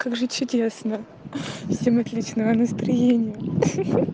как жить чудесно всем отличного настроения хи-хи